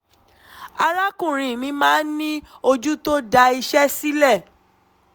arákùnrin mi máa ń ní ojú tó da iṣẹ́ sílẹ̀